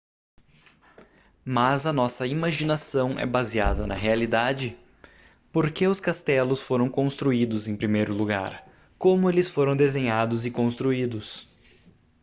mas a nossa imaginação é baseada na realidade por que os castelos foram construídos em primeiro lugar como eles foram desenhados e construídos